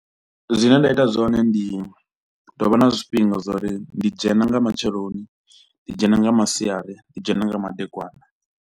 Zwine nda ita zwone ndi tovha na zwifhinga zwa uri ndi dzhena nga matsheloni, ndi dzhena nga masiari, ndi dzhena nga madekwana.